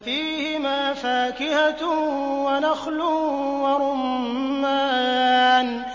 فِيهِمَا فَاكِهَةٌ وَنَخْلٌ وَرُمَّانٌ